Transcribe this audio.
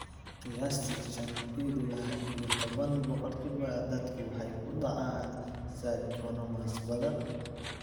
Qiyaastii shaan ila iyo toban boqolkiba dadku waxay ku dhacaan schwannomas badan.